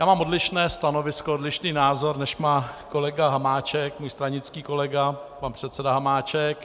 Já mám odlišné stanovisko, odlišný názor, než má kolega Hamáček, můj stranický kolega, pan předseda Hamáček.